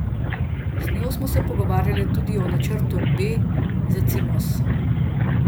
Z njo smo se pogovarjali tudi o načrtu B za Cimos.